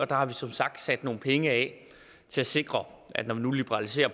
der har vi som sagt sat nogle penge af til at sikre at når vi nu liberaliserer